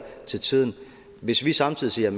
til tiden hvis vi samtidig siger